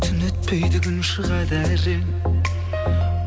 түн өтпейді күн шығады әрең